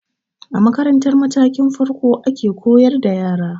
A makarantar matakin farko ana koyar da yara